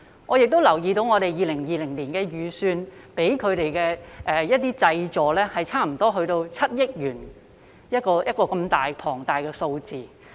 我也留意到，政府在2020年的預算中向他們提供的濟助多達7億元，這麼龐大的數額。